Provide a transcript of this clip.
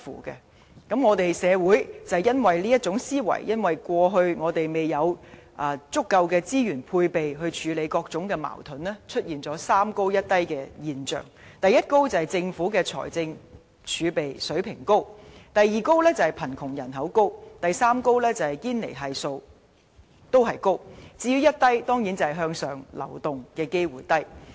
由於這種思維，我們的社會一直未有調撥足夠的資源來處理各種矛盾，以致出現"三高一低"的現象：第一高是政府財政儲備水平高、第二高是貧窮人口高，第三高是堅尼系數高，至於"一低"當然是向上流動機會低。